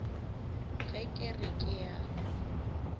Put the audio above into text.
ge ke re ke a